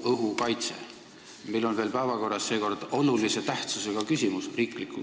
Ja veel on meil vahel päevakorras olulise tähtsusega riiklik